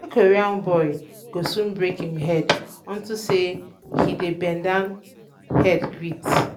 dat korean boy go soon break im head unto say he dey bend head greet